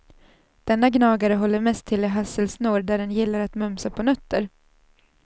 Denna gnagare håller mest till i hasselsnår där den gillar att mumsa på nötter.